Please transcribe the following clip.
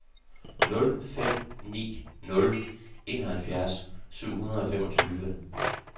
nul fem ni nul enoghalvfjerds syv hundrede og femogtyve